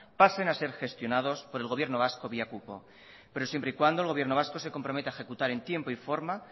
pasen a ser gestionados por el gobierno vasco vía cupo pero siempre y cuando el gobierno vasco se comprometa a ejecutar en tiempo y forma